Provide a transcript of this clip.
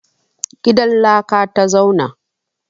Gidan laka ta zauna.